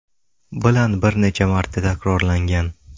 bilan bir necha marta takrorlangan.